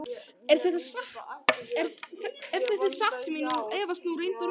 Ef þetta er satt sem ég efast nú reyndar um.